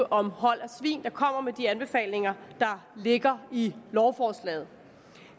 om hold af svin der kommer med de anbefalinger der ligger i lovforslaget